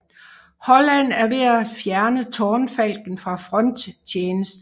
Holland er ved at fjerne Tårnfalken fra fronttjeneste